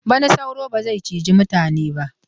Bana sauro ba zai cije mutane ba.